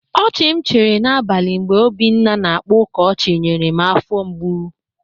Ọchị m chịrị n'abalị mgbe Obinna na-akpa ụka ọchị nyere m afọ mgbụ.